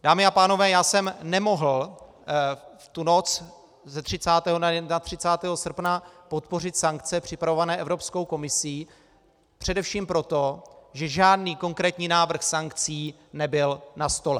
Dámy a pánové, já jsem nemohl v tu noc z 30. na 31. srpna podpořit sankce připravované Evropskou komisí především proto, že žádný konkrétní návrh sankcí nebyl na stole.